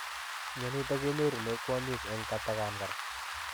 Mionitok ko kinyorunee kwonyik eng atakan koraa.